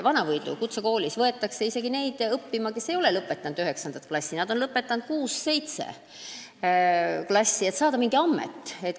Vana-Võidu kutsekooli võetakse isegi neid õppima, kes ei ole lõpetanud üheksa klassi, vaid kuus või seitse klassi, et nad saaksid mingi ameti.